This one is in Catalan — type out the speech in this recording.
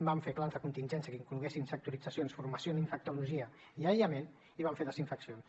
vam fer plans de contingència que incloguessin sectoritzacions formació en infectologia i aïllament i vam fer desinfeccions